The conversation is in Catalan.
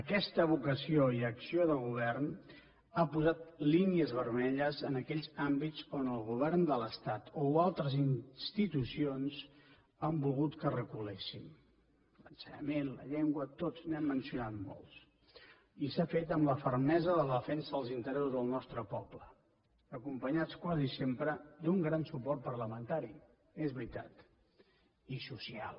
aquesta vocació i acció de govern ha posat línies vermelles en aquells àmbits on el govern de l’estat o altres institucions han volgut que reculéssim l’ensenyament la llengua tots n’hem mencionat molts i s’ha fet amb la fermesa de la defensa dels interessos del nostre poble acompanyats quasi sempre d’un gran suport parlamentari és veritat i social